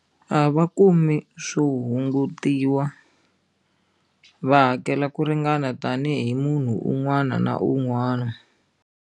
A va kumi swo hungutiwa va hakela ku ringana tanihi munhu un'wana na un'wana.